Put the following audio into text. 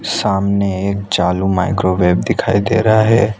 सामने एक चालू माइक्रोवेव दिखाई दे रहा है।